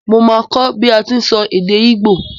Mo máa kó bi a ti n sọ èdè igbo